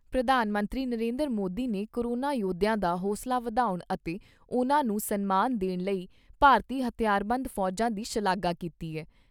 ਪ੍ਰਧਾਨ ਮੰਤਰੀ ਨਰਿੰਦਰ ਮੋਦੀ ਨੇ ਕੋਰੋਨਾ ਯੋਧਿਆਂ ਦਾ ਹੌਸਲਾ ਵਧਾਉਣ ਅਤੇ ਉਨ੍ਹਾਂ ਨੂੰ ਸਨਮਾਨ ਦੇਣ ਲਈ ਭਾਰਤੀ ਹਥਿਆਰਬੰਦ ਫੌਜਾਂ ਦੀ ਸ਼ਲਾਘਾ ਕੀਤੀ ਏ।